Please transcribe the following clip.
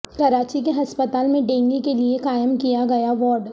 کراچی کے ہسپتال میں ڈینگی کے لیے قائم کیا گیا وارڈ